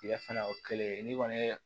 Tigɛ fana o kelen n'i kɔni ye